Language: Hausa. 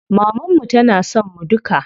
Maman mu tana son mu duka.